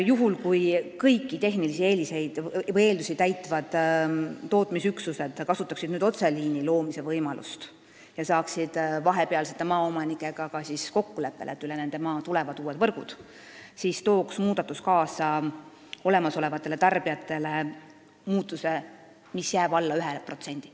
Juhul kui kõiki tehnilisi kriteeriume täitvad tootmisüksused kasutaksid otseliini loomise võimalust ja saaksid vahepealsete maaomanikega kokkuleppele, et üle nende maa tulevad uued võrgud, siis tooks see olemasolevatele tarbijatele kaasa hinnamuutuse, mis jääb alla 1%.